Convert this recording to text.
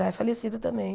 Já é falecido também.